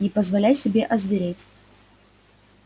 не позволяй себе озвереть